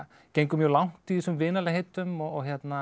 gengur mjög langt í þessum vinalegheitum og